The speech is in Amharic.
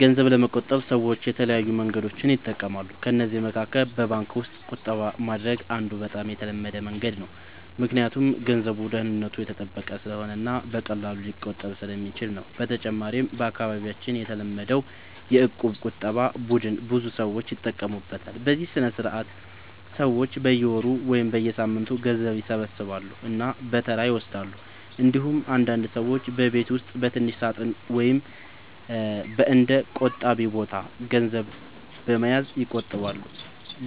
ገንዘብ ለመቆጠብ ሰዎች የተለያዩ መንገዶችን ይጠቀማሉ። ከእነዚህ መካከል በባንክ ውስጥ ቁጠባ ማድረግ አንዱ በጣም የተለመደ መንገድ ነው፣ ምክንያቱም ገንዘቡ ደህንነቱ የተጠበቀ ስለሆነ እና በቀላሉ ሊቆጠብ ስለሚችል ነው። በተጨማሪም በአካባቢያችን የተለመደው የእቁብ ቁጠባ ቡድን ብዙ ሰዎች ይጠቀሙበታል፤ በዚህ ስርዓት ሰዎች በየወሩ ወይም በየሳምንቱ ገንዘብ ይሰበስባሉ እና በተራ ይወስዳሉ። እንዲሁም አንዳንድ ሰዎች በቤት ውስጥ በትንሽ ሳጥን ወይም በእንደ “ቆጣቢ ቦታ” ገንዘብ በመያዝ ይቆጥባሉ።